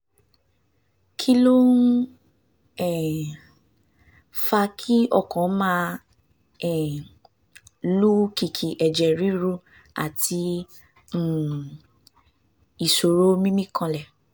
kí ló ń um fa kí ọkàn máa um lù kìkì ẹ̀jẹ̀ ríru àti um ìṣòro mímí kanlẹ̀?